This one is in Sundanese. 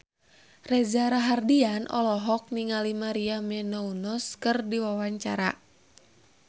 Reza Rahardian olohok ningali Maria Menounos keur diwawancara